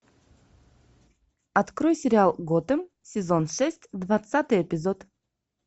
открой сериал готэм сезон шесть двадцатый эпизод